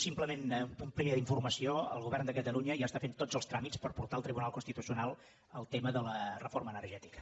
simplement un punt primer d’informació el govern de catalunya ja està fent tots els tràmits per portar al tribunal constitucional el tema de la reforma energètica